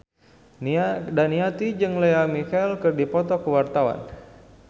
Nia Daniati jeung Lea Michele keur dipoto ku wartawan